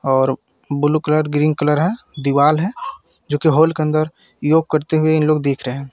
और blue colour green colour है दीवार है जो कि हॉल के अंदर योग करते हुए इन लोग दिख रहे है.